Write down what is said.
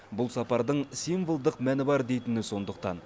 бұл сапардың символдық мәні бар дейтіні сондықтан